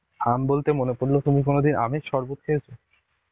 আম বলতে মনে পড়লো তুমি কোনদিন আমের সরবত খেয়েছ?